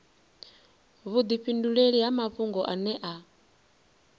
vhudifhinduleli ha mafhungo ane a